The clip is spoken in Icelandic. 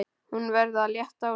Hún verður að létta á sér.